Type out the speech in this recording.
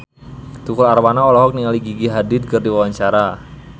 Tukul Arwana olohok ningali Gigi Hadid keur diwawancara